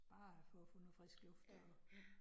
Bare for at få noget frisk luft og